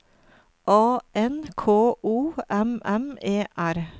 A N K O M M E R